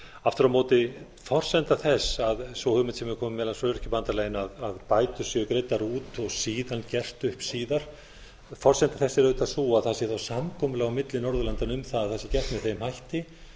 aftur á móti forsenda þess að sú hugmynd sem hefur komið meðal annars frá öryrkjabandalaginu að bætur séu greiddar út og síðan gert upp síðar forsenda þess er auðvitað sú að það sé samkomulag á milli norðurlandanna um það að það sé gert með þeim hætti